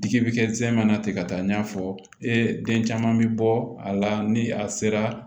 Digi bɛ kɛ zɛmɛ na ten ka taa n y'a fɔ ee den caman mi bɔ a la ni a sera